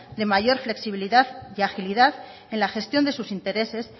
de mayor flexibilidad y agilidad en la gestión de sus intereses